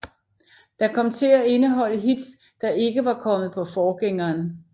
Der kom til at indeholde hits der ikke var kommet på forgængeren